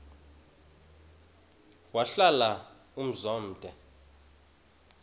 wahlala umzum omde